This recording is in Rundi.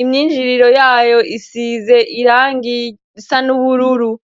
imyinjiriro yayo isize irangi risa n'ubururu